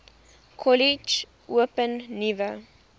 kollege open nuwe